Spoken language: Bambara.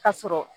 Ka sɔrɔ